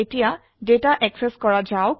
এতিয়া data access কৰা যাক